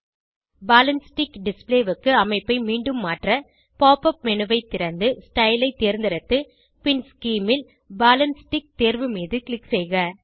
ball and stick display க்கு அமைப்பை மீண்டும் மாற்ற pop உப் மேனு ஐ திறந்து ஸ்டைல் ஐ தேர்ந்தெடுத்து பின் ஸ்கீம் ல் பால் ஆண்ட் ஸ்டிக் தேர்வு மீது க்ளிக் செய்க